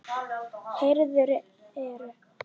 Héruðin eru